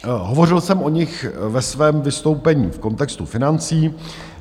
Hovořil jsem o nich ve svém vystoupení v kontextu financí.